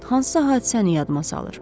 Hansısa hadisəni yadıma salır.